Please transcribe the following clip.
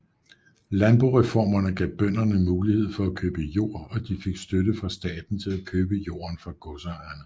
Landboreformerne gav bønderne mulighed for at købe jord og de fik støtte fra staten til at købe jorden fra godsejerne